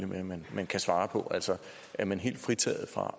med at man kan svare på altså er man helt fritaget for